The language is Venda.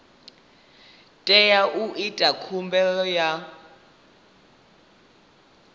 teaho u ita khumbelo ya